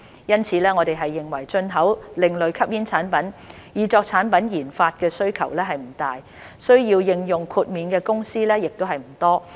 因此，我們認為進口另類吸煙產品以作產品研發的需求不大，需要應用豁免的公司亦不多。